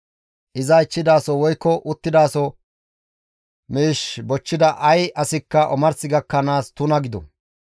Iza ichchidaso woykko uttidaso miish bochchida ay asikka omars gakkanaas tuna gido.